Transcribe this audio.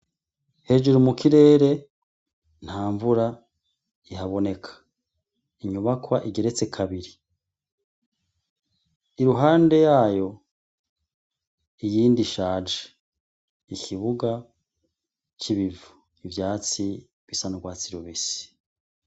Hejuru mu kirere ntamvura ihaboneka ,inyubakwa igeretse kabiri iruhande yayo iyindi ishaje, ikibuga c'ibivu ivyatsi bisa n'urwatsi rubisi.